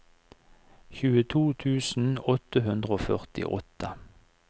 tjueto tusen åtte hundre og førtiåtte